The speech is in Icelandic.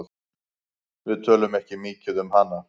Við tölum ekki mikið um hana.